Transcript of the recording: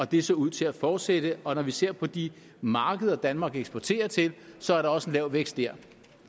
det så ud til at fortsætte og når vi ser på de markeder danmark eksporterer til så er der også lav vækst der